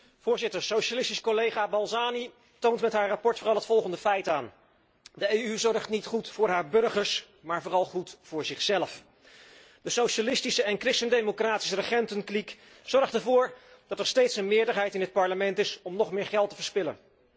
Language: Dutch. Voorzitter, de socialistische collega Balzani toont met haar verslag vooral het volgende feit aan de EU zorgt niet goed voor haar burgers, maar vooral goed voor zichzelf. De socialistische en christen democratische regentenkliek zorgt ervoor dat er steeds een meerderheid in het Parlement is om nog meer geld te verspillen.